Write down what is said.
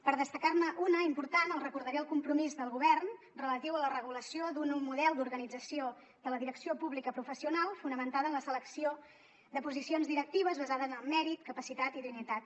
per destacar ne una important els recordaré el compromís del govern relatiu a la regulació d’un nou model d’organització de la direcció pública professional fonamentada en la selecció de posicions directives basada en el mèrit capacitat i idoneïtat